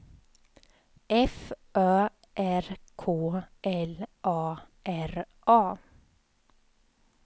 F Ö R K L A R A